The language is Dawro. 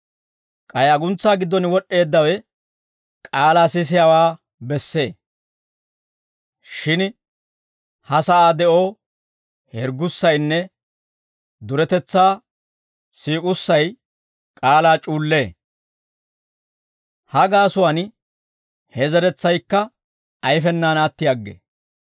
K'ay aguntsaa giddon wod'd'eeddawe k'aalaa sisiyaawaa bessee; shin ha sa'aa de'oo hirggussaynne duretetsaa siik'ussay k'aalaa c'uullee; ha gaasuwaan he zeretsaykka ayfenaan atti aggee.